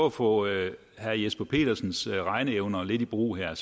at få lidt af herre jesper petersens regneevner i brug her